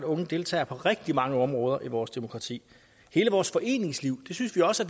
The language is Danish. unge deltager på rigtig mange områder i vores demokrati hele vores foreningsliv synes vi også